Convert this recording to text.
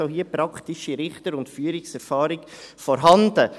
Also: Auch hier ist praktische Richter- und Führungserfahrung vorhanden.